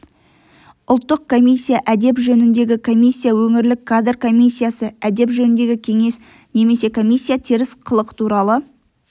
ұлттық комиссия әдеп жөніндегі комиссия өңірлік кадр комиссиясы әдеп жөніндегі кеңес немесе комиссия теріс қылық туралы